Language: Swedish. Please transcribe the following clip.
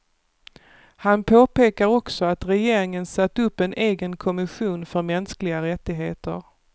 Han påpekar också att regeringen satt upp en egen kommission för mänskliga rättigheter.